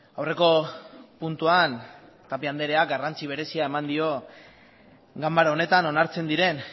aurreko puntuan tapia andreak garrantzi berezia eman dio ganbara honetan onartzen diren